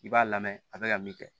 I b'a lamɛn a bɛ ka min kɛ